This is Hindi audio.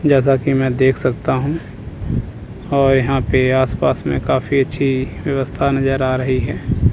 जैसा कि मैं देख सकता हूं और यहां पे आसपास में काफी अच्छी व्यवस्था नजर आ रही है।